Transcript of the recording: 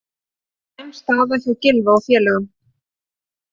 Slæm staða hjá Gylfa og félögum